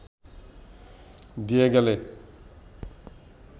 দিয়ে গেলে